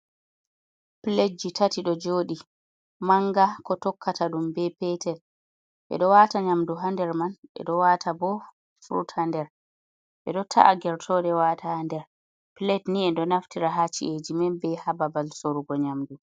Piletji tati ɗo jodi; manga ko tokkata dum, ɓe petel, ɓe ɗo wata nyamdu ha nder man, ɓe ɗo wata bo frut ha nder, ɓe ɗo ta’a gertode wata ha nder. pilet ni ɓe ɗo naftira ha ci’eji men be ha babal sorugo nyamdu.